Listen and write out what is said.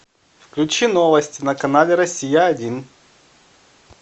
включи новости на канале россия один